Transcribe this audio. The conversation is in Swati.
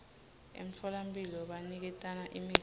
emtfolamphilo baniketana imitsi